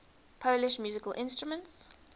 polish musical instruments